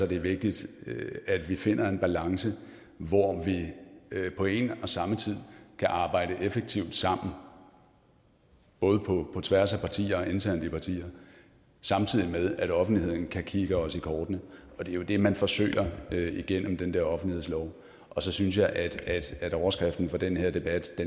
det er vigtigt at vi finder en balance hvor vi på en og samme tid kan arbejde effektivt sammen både på tværs af partier og internt i partier samtidig med at offentligheden kan kigge os i kortene og det er jo det man forsøger gennem den der offentlighedslov og så synes jeg at overskriften for den her debat